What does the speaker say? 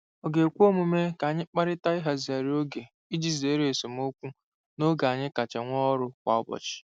Ọ̀ ga-ekwe omume ka anyị kparịta ịhazigharị oge iji zere esemokwu n'oge anyị kacha nwee ọrụ kwa ụbọchị?